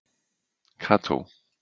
Kató